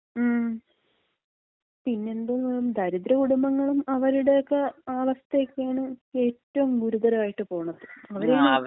മ്. പിന്നെന്തോന്ന്? ദരിദ്ര കുടുംബങ്ങളും അവരുടെക്ക അവസ്ഥക്കയാണ് ഏറ്റവും ഗുരുതരായിട്ട് പോണത്.